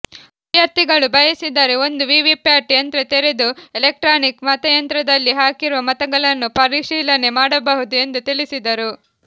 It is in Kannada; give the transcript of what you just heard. ಅಭ್ಯರ್ಥಿಗಳು ಬಯಸಿದರೆ ಒಂದು ವಿವಿಪ್ಯಾಟ್ ಯಂತ್ರ ತೆರೆದು ಎಲೆಕ್ಟ್ರಾನಿಕ್ ಮತಯಂತ್ರದಲ್ಲಿ ಹಾಕಿರುವ ಮತಗಳನ್ನು ಪರಿಶೀಲನೆ ಮಾಡಬಹುದು ಎಂದು ತಿಳಿಸಿದರು